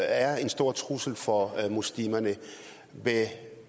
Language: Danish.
er en stor trussel for muslimerne vil